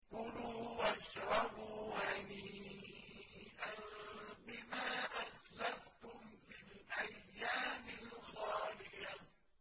كُلُوا وَاشْرَبُوا هَنِيئًا بِمَا أَسْلَفْتُمْ فِي الْأَيَّامِ الْخَالِيَةِ